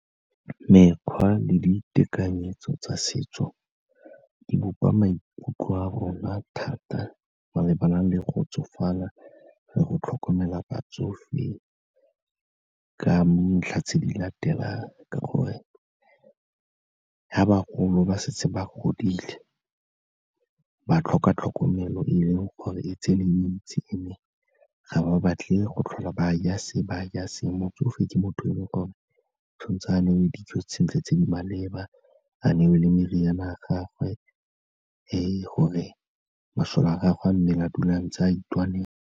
Mekgwa le ditekanyetso tsa setso di bopa maikutlo a rona thata malebana le go tsofala le go tlhokomela batsofe ka dintlha tse di latelang, ka gore fa bagolo ba setse ba godile ba tlhoka tlhokomelo e e leng gore e tseneletse and-e ga ba batle go tlhola ba ja se ba ja se, motsofe ke motho o e leng gore tshwan'tse a newe dijo sentle tse di maleba, a newe le meriana ya gagwe e gore masole a gagwe a mmele a dula ntse a itwanela.